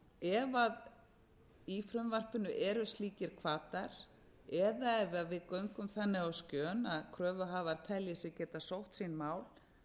ef í frumvarpinu eru slíkir hvatar eða ef við göngum þannig á skjön að kröfuhafar telji sig geta sótt sín